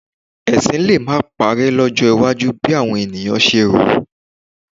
Ẹ̀sìn lè má parẹ́ lọ́jọ́ iwájú bí àwọn èèyàn ṣe rò